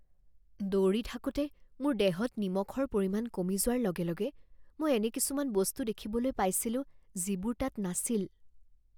দৌৰি থাকোঁতে মোৰ দেহত নিমখৰ পৰিমাণ কমি যোৱাৰ লগে লগে মই এনে কিছুমান বস্তু দেখিবলৈ পাইছিলোঁ যিবোৰ তাত নাছিল